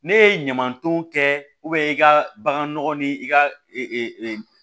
Ne ye ɲamanton kɛ i ka bagan nɔgɔ ni i ka